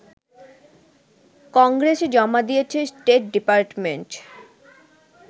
কংগ্রেসে জমা দিয়েছে স্টেট ডিপার্টমেন্ট